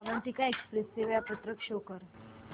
Avantika express चे वेळापत्रक show कर